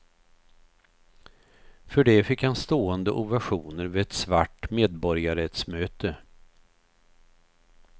För det fick han stående ovationer vid ett svart medborgarrättsmöte.